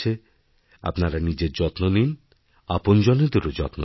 আপনার নিজের যত্ন নিনআপনজনদেরও যত্ন নিন